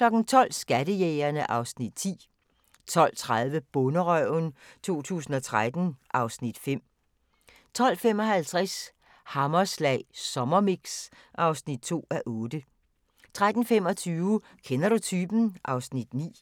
12:00: Skattejægerne (Afs. 10) 12:30: Bonderøven 2013 (Afs. 5) 12:55: Hammerslag Sommermix (2:8) 13:25: Kender du typen? (Afs. 9)